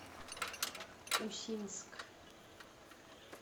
усинск